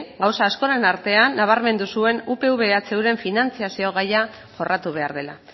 gauza askoren artean nabarmendu zuen upv ehuren finantzazio gaia jorratu behar dela